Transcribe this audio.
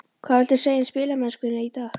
Hvað viltu segja um spilamennskuna í dag?